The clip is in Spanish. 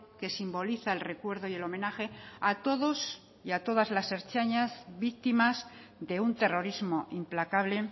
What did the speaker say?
que simbólica el recuerdo y el homenaje a todos y a todas las ertzainas víctimas de un terrorismo implacable